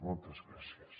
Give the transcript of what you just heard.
moltes gràcies